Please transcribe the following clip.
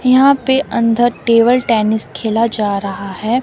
यहां पे अंदर टेबल टेनिस खेला जा रहा है।